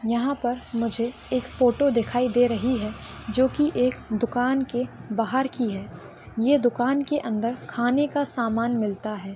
यहा पर मुझे एक फोटो दिखाई दे रही हैं जो की एक दुकान के बाहर की हैं ये दुकान के अंदर खाने का समान मिलता हैं।